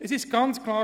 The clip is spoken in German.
Es ist ganz klar: